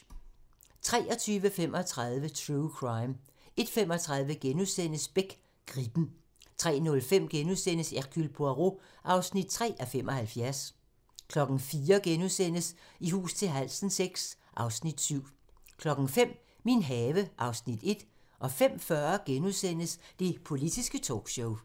23:35: True Crime 01:35: Beck: Gribben * 03:05: Hercule Poirot (3:75)* 04:00: I hus til halsen VI (Afs. 7)* 05:00: Min have (Afs. 1) 05:40: Det politiske talkshow *